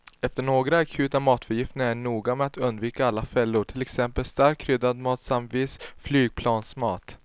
Efter några akuta matförgiftningar är jag noga med att undvika alla fällor, till exempel starkt kryddad mat samt viss flygplansmat.